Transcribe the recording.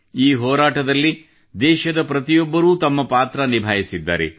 ಈ ಹೋರಾಟದಲ್ಲಿ ದೇಶದ ಪ್ರತಿಯೊಬ್ಬರೂ ತಮ್ಮ ಪಾತ್ರ ನಿಭಾಯಿಸಿದ್ದಾರೆ